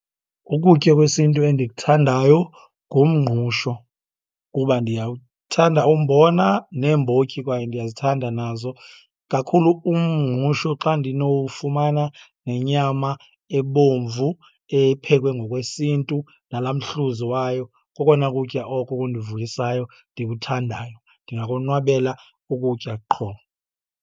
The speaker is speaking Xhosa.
Ukutya kwesintu endikuthandayo ngumngqusho kuba ndiyawuthanda umbona, neembotyi kwaye ndiyazithanda nazo. Kakhulu umngqusho xa ndinowufumana nenyama ebomvu ephekwe ngokwesintu nalaa mhluzi wayo. Kokona kutya oko kundivuyisayo ndikuthandayo, ndingakonwabela ukutya qho.